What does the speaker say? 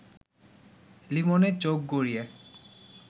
লিমনের চোখ গড়িয়ে